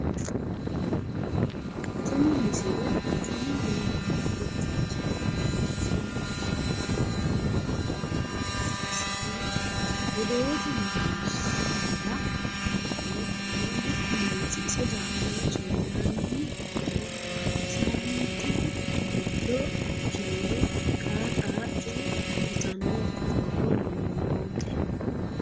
tini misile affini yinanni birxichinni loonsoonnita sidaamu afii filme egensiissanna oddote mereershira nootanna mitttu manchi ise daafira coyeeranni noohanna saaminte giddo ikkinore qara qara coye yitanno borro noote